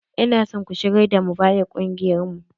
Ina son ku shigar da Mubarak kungiyar mu!